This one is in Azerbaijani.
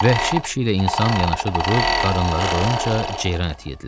Vəhşi pişiklə insan yanaşı durub qarınınları doyunca ceyran əti yedirlər.